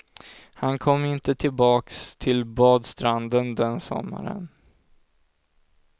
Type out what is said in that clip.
Han kom inte tillbaks till badstranden den sommaren.